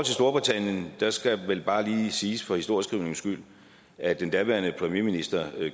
storbritannien skal vel bare lige siges for historieskrivningens skyld at den daværende premierminister